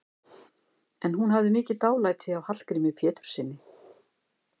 En hún hafði mikið dálæti á Hallgrími Péturssyni.